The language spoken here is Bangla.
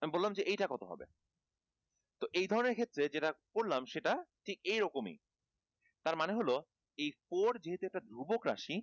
আমি বললাম যে এইটা কত হবে? তো এই ধরনের ক্ষেত্রে যেটা করলাম সেটা ঠিক এই রকমই তার মানে হল যে four যেহেতু একটা ধ্রুবক রাশি